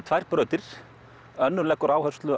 tvær brautir önnur leggur áherslu